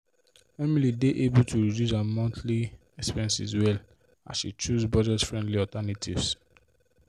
emily dey able to reduce her monthly expenses well as she choose budget friendly alternatives.